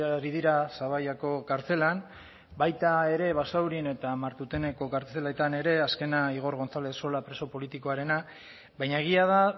ari dira zaballako kartzelan baita ere basaurin eta martuteneko kartzeletan ere azkena igor gonzalez sola preso politikoarena baina egia da